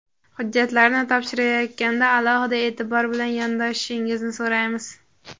Hujjatlarni topshirayotganda alohida eʼtibor bilan yondoshishingizni so‘raymiz.